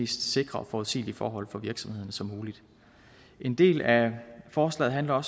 sikre og forudsigelige forhold for virksomhederne som muligt en del af forslaget handler